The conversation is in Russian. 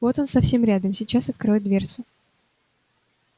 вот он совсем рядом сейчас откроет дверцу